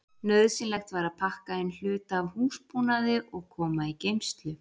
Nauðsynlegt var að pakka inn hluta af húsbúnaði og koma í geymslu.